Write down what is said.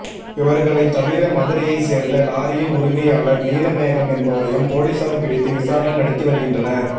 இவர்களை தவிர மதுரையை சேர்ந்த லாரியின் உரிமையாளர் நீலமேகம் என்பவரையும் போலீசார் பிடித்து விசாரணை நடத்தி வருகின்றனர்